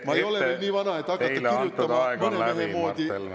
Ma ei ole veel nii vana, et hakata kirjutama mõne mehe moodi memuaare.